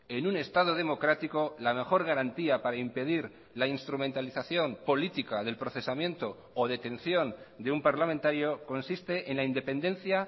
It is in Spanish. en un estado democrático la mejor garantía para impedir la instrumentalización política del procesamiento o detención de un parlamentario consiste en la independencia